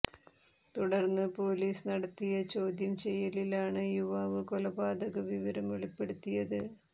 തുടര്ന്ന് പോലീസ് നടത്തിയ ചോദ്യം ചെയ്യലിലാണ് യുവാവ് കൊലപാതക വിവരം വെളിപ്പെടുത്തിയത്